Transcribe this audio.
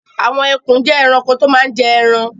Àwọn ẹkùn jẹ́ ẹranko tó máa ń jẹ ẹran.